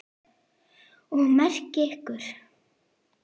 Og með ykkur!